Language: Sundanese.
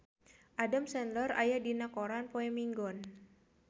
Adam Sandler aya dina koran poe Minggon